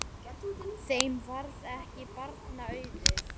Þeim varð ekki barna auðið.